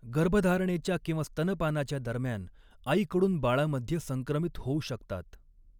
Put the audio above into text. गर्भधारणेच्या किंवा स्तनपानाच्या दरम्यान आईकडून बाळामध्ये संक्रमित होऊ शकतात.